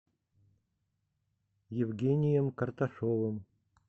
евгением карташовым